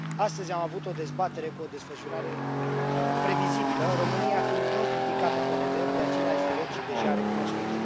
Astăzi am avut o dezbatere cu o desfășurare previzibilă, România fiind din nou criticată pe nedrept de aceleași voci deja recunoscute.